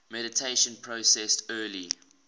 mediation process early